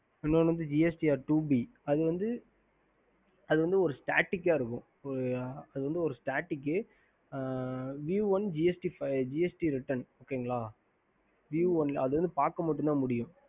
ஹம்